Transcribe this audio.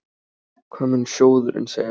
Hvað mun sjóðurinn segja?